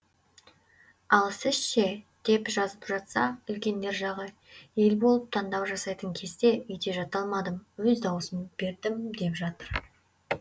ал сіз ше деп жазып жатса үлкендер жағы ел болып таңдау жасайтын кезде үйде жата алмадым өз дауысымды бердім деп жатыр